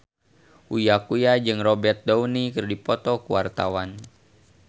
Uya Kuya jeung Robert Downey keur dipoto ku wartawan